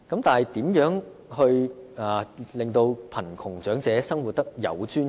但是，如何令貧窮長者生活得有尊嚴？